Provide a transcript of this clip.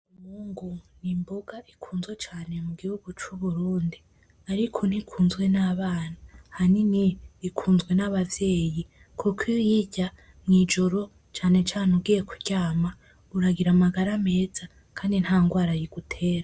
Umwungu n'imboga ikunzwe cane mu gihugu c'Uburundi, ariko nikunzwe n'abana, ahanini ikuzwe n'abavyeyi kuko iy'uyirya mw'ijoro cane cane ugiye kuryama uragira amagara meza kandi nta ngwara igutera.